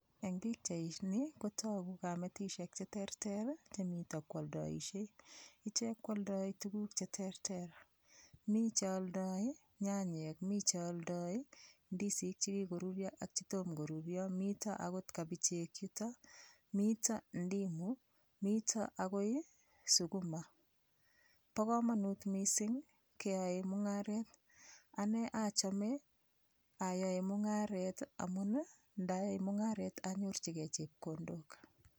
Eng' bikchaini kotogu kametishek cheterter chemito kooldoishei ichek kwoldoi tukuk cheterter mi cheoldoi nyanyek mi cheoldoi ndisik chikikorurio ak chetomo korurio mito akot kabichek yuto mito ndimu mito akoi sukuma bo komonut mising' keyoei mung'aret ane achome ayoe mung'aret amun ndayai mung'aret anyorchigei chepkondok